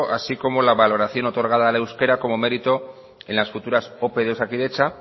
así como la valoración otorgada al euskera como merito en las futuras ope de osakidetza